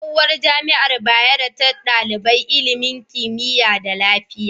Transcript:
Tsohuwar jamiar bayero ta daliban ilimin kimiya ne da lafiya